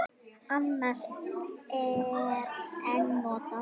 Annars er en notað.